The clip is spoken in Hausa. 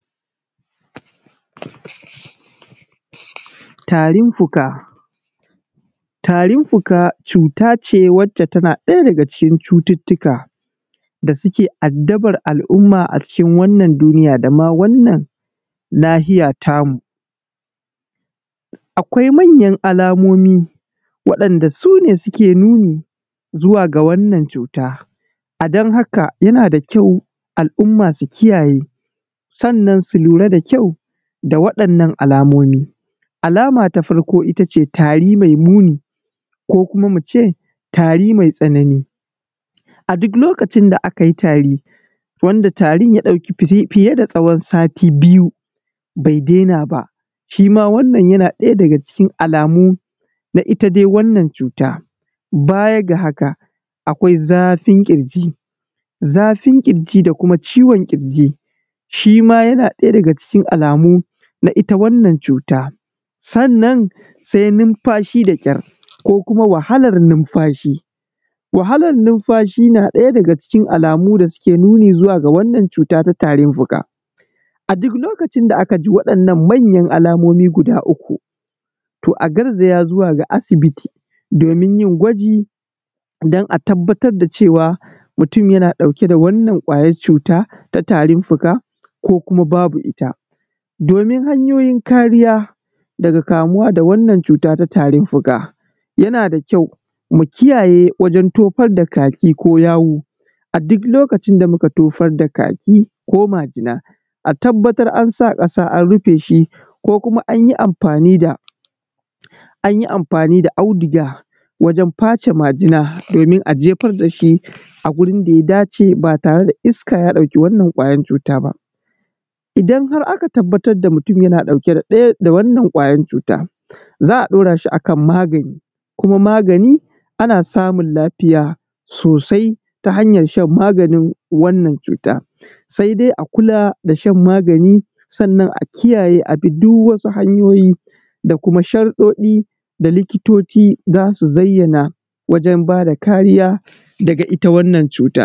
Tarin fuka, tarin fuka cuta ce wacce tana daya daga cikin cututtukan da suke addabar al'umma a cikin wannan duniya da wannan nahiya tamu. Akwai manyan alamomi waɗanda su ne suke nuni zuwa ga wannan cuta don haka yana da ƙyau al'umma su kiyaye sannan su lura da ƙyau da waɗannan alamomi. Alama ta farko ita ce tari mai muni ko kuma mu ce tari matsanani, a duk lokacin da aka yi tari idan tarin ya ɗauki fiye da tswon sati biyu bai daina ba wannan yana daya daga cikin alamu na ita dai wannan cuta. Baya ga haka akwai zafin ƙirji da kuma ciwon ƙirji shi ma yana daya daga cikin alamu na ita wannan cuta. Sannan sai nimfashi da ƙyar. Numfashi na daya daga cikin alamu da suke nuni da zuwa wannan cuta. A duk lokacin da aka ji waɗannan manya alamomi guda uku, to a garzaya zuwa ga asibiti domin yin gwaji don a tabbatar da cewa mutum yana dauke da wannan ƙwayar cuta ta tarin fuka ko babu ita. Domin hanyoyijn kariya daga kamuwa da wannan cuta ta tarin fuka yana da ƙyau mu kiyaye wajen tofar da kaki ko yawu. A duk lokacin da muka tofar da kaki jo majina a tabbatar an sa kasa an rufe shi ko kuma an yi amfani da auduga wajen face majina domin a jefar da shi a gurin da ya dace ba tare da iska ya ɗauki wannan ƙwayar cuta ba. Idan har aka tabbatar da mutum yana ɗauke da ɗaya daga cikin wannan ƙwayar cuta za a dauara shi a kan magani kuma magani ana samun lafiya sosai ta ha yar shan magani domin wannan cuta. Sai dai a kula da shan magani sannan a kiyaye duk wasu hanyoyi da kuma sharɗoɗi da likitoci za su zayyana wajen ba da kariya daga ita wannan cuta.